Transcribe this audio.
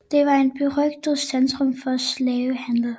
Den var et berygtet centrum for slavehandel